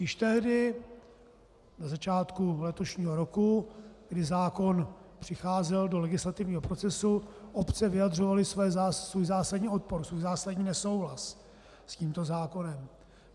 Již tehdy, na začátku letošního roku, kdy zákon přicházel do legislativního procesu, obce vyjadřovaly svůj zásadní odpor, svůj zásadní nesouhlas s tímto zákonem.